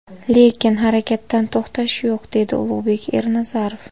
Lekin harakatdan to‘xtash yo‘q”, dedi Ulug‘bek Ernazarov.